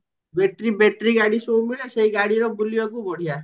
battery battery ଗାଡି ସବୁ ମିଳେ ଦେଇ ଗାଡିର ବୁଲିବାକୁ ବଢିଆ